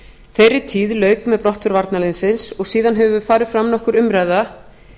þeirri tíð lauk með brottför varnarliðsins og síðan hefur farið fram nokkur umræða